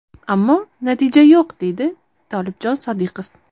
Ammo natija yo‘q”, deydi Tolibjon Sodiqov.